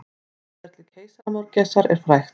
Atferli keisaramörgæsar er frægt.